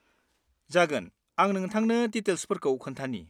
जागोन आं नोंथांनो डिटेल्सफोरखौ खोन्थानि।